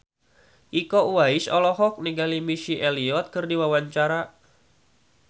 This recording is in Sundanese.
Iko Uwais olohok ningali Missy Elliott keur diwawancara